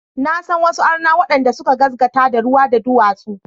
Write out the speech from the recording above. Na san wasu arna waɗanda suka gaskata da ruwa, da duwatsu.